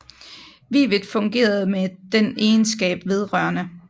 Wivet fungerede med den egenskab vedr